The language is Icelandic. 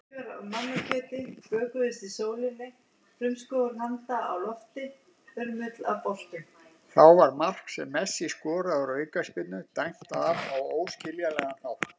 Þá var mark sem Messi skoraði úr aukaspyrnu dæmt af á óskiljanlegan hátt.